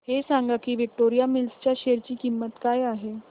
हे सांगा की विक्टोरिया मिल्स च्या शेअर ची किंमत काय आहे